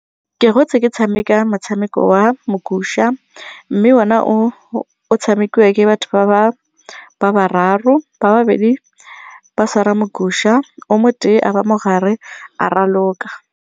Ke gotse ke tshameka motshameko wa mogusha mme ona o tshamekiwa ke batho ba bararo, ba babedi ba tshwara mogusha o mo tee a ba mogare a raloka.